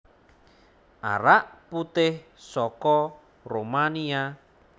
Arak putih soko Rumania